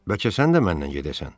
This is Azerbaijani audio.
Bəlkə sən də məndən gedəsən.